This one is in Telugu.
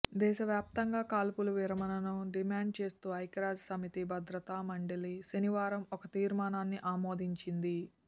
దేశవ్యాప్తంగా కాల్పుల విరమణకు డిమాండ్ చేస్తూ ఐక్యరాజ్యసమితి భద్రతామండలి శనివారం ఒక తీర్మానాన్ని ఆమోదించింది